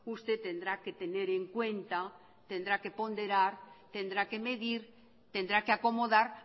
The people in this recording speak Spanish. usted tendrá que tener en cuenta tendrá que ponderar tendrá que medir tendrá que acomodar